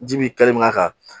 Ji bi kɛ mina kan